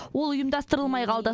ол ұйымдастырылмай қалды